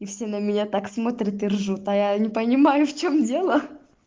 и все на меня так смотрят и ржут а я не понимаю в чем дело